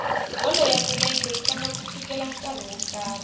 bolo ya milenge yi tlanga ku fikela nkarhi wo karhi